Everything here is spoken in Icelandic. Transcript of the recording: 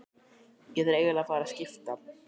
Ég þarf eiginlega að fara að skipta.